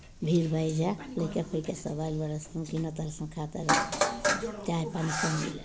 भीड़ भईल बा एजा लयका फयका सब आलय बरन स किना तरन सा ख़त तरन स चाय पानी सब मिली।